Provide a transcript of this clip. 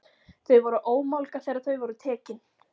Þau voru ómálga þegar þau voru tekin.